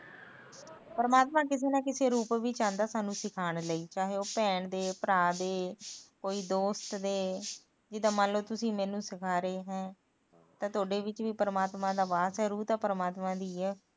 ਪਰਮਾਤਮਾ ਕਿਸੇ ਨਾ ਕਿਸੇ ਰੂਪ ਵਿੱਚ ਆਂਦਾ ਸਾਨੂੰ ਸਿਖਾਣ ਲੀ ਚਾਹੇ ਉਹ ਭੈਣ ਦੇ ਭਰਾ ਦੇ ਕੋਈ ਦੋਸਤ ਦੇ ਜਿਦਾ ਮਤਲਬ ਤੁਸੀ ਮੈਨੂੰ ਸਿਖਾ ਰਹੇ ਹੈ ਤਾ ਤੁਹਾਡੇ ਵਿੱਚ ਪਰਮਾਤਮਾ ਦਾ ਵਾਸ ਐ ਰੂਹ ਤਾ ਪਰਮਾਤਮਾ ਦੀ ਐ